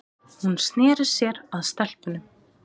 Hún sneri sér að stelpunum.